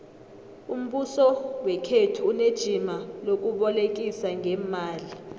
umbuso wekhethu unejima lokubolekisa ngeemali